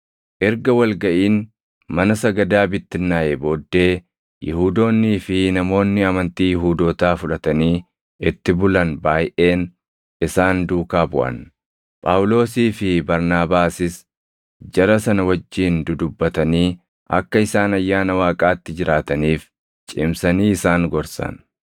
Erga wal gaʼiin mana sagadaa bittinnaaʼee booddee, Yihuudoonnii fi namoonni amantii Yihuudootaa fudhatanii itti bulan baayʼeen isaan duukaa buʼan; Phaawulosii fi Barnaabaasis jara sana wajjin dudubbatanii akka isaan ayyaana Waaqaatti jiraataniif cimsanii isaan gorsan.